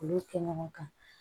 Olu kɛ ɲɔgɔn kan